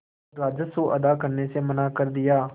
और राजस्व अदा करने से मना कर दिया